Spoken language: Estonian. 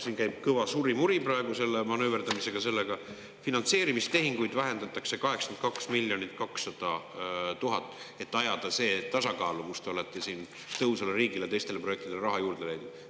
Siin käib kõva surimuri praegu selle manööverdamisega, finantseerimistehinguid vähendatakse 82 200 000, et ajada see tasakaalu, kus te olete siin "Tõhusale riigile" ja teistele projektidele raha juurde leidnud.